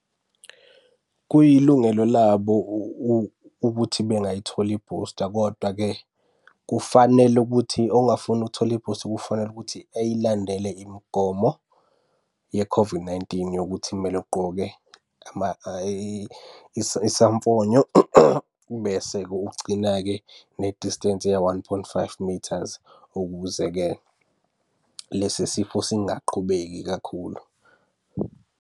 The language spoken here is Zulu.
Kuyilungelo labo ukuthi bengayitholi i-booster, kodwa-ke kufanele ukuthi ongafuni ukuthola i-booster kufanele ukuthi ey'landele imigomo ye-COVID-19 yokuthi kumele ugqoke isamfonyo. Bese-ke ugcina-ke ne distance ya-one point five meters, ukuze-ke lesi sifo singaqhubeki kakhulu.